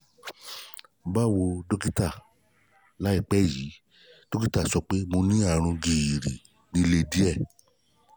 báwo dọ́kítà láìpẹ́ yìí dọ́kítà sọ pé mo ní àrùn gìrì líle díẹ̀